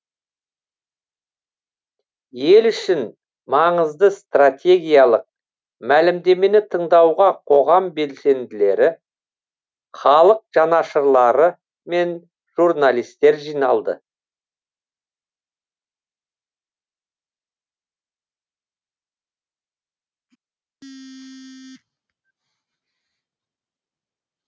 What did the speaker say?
ел үшін маңызды стратегиялық мәлімдемені тыңдауға қоғам белсенділері халық жанашырлары мен журналистер жиналды